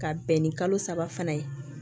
Ka bɛn ni kalo saba fana ye